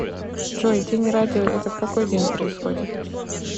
джой день радио это в какой день происходит